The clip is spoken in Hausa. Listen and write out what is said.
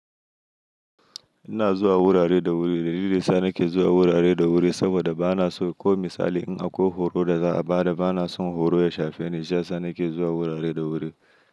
Ina zuwa wurare da wuri, da lili sa nake zuwa wurare da wuri saboda ba na so ko misali in akwai horo da za a ba da ba na son horo ya shafe ni, sha sani ke zuwa wurare da wuri.